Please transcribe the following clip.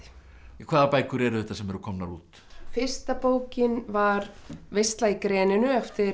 hvaða bækur eru þetta sem eru komnar út fyrsta bókin var veisla í greninu eftir